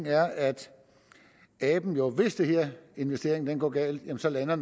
er at aben jo hvis den her investering går galt altså lander